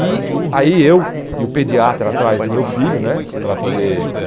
E aí eu e o pediatra atrás do meu filho né para poder o